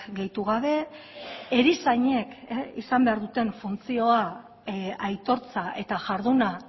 gehitu gabe erizainek izan behar duten funtzioa aitortza eta jarduna